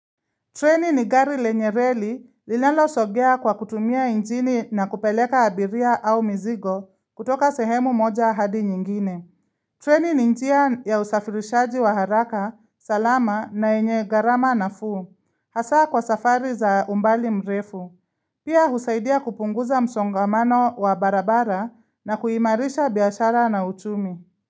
Treni ni gari lenye reli linalo sogea kwa kutumia injini na kupeleka abiria au mizigo kutoka sehemu moja hadi nyingine. Treni ni njia ya usafirishaji wa haraka, salama na yenye gharama nafuu. Hasaa kwa safari za umbali mrefu. Pia husaidia kupunguza msongamano wa barabara na kuimarisha biashara na uchumi.